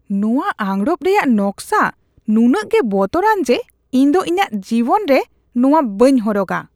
ᱱᱚᱶᱟ ᱟᱸᱜᱨᱚᱯ ᱨᱮᱭᱟᱜ ᱱᱚᱠᱥᱟ ᱱᱩᱱᱟᱹᱜ ᱜᱮ ᱵᱚᱛᱚᱨᱟᱱ ᱡᱮ ᱤᱧ ᱫᱚ ᱤᱧᱟᱜ ᱡᱤᱵᱚᱱ ᱨᱮ ᱱᱚᱣᱟ ᱵᱟᱹᱧ ᱦᱚᱨᱚᱜᱼᱟ ᱾